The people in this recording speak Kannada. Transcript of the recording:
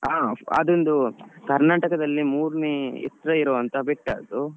ಹ ಅದೊಂದು Karnataka ದಲ್ಲಿ ಮೂರ್ನೇ ಎತ್ರ ಇರುವಂತ ಬೆಟ್ಟ ಅದು.